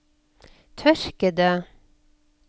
tørkede